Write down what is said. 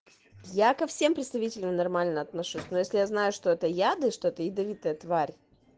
я ко всем представителям нормально отношусь но если я знаю что это яды что-то ядовитая тварь